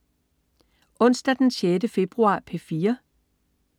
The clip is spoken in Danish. Onsdag den 6. februar - P4: